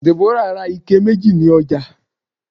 Deborah bought two buckets at the market